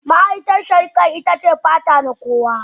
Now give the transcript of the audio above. Ma'aikatar shari'a ita ce fata na kowa.